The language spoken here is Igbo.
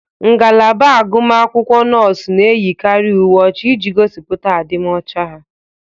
Ngalaba agụmakwụkwọ Nọọsụ na eyikari uwe ọcha iji gosipụta adim ọcha ha.